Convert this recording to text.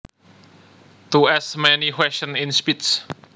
To ask many questions in speech